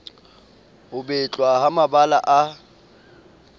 ho betlwa ha mabala a